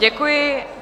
Děkuji.